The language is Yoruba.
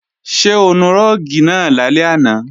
Ṣé o nu rúùgì náà lálẹ́ àná?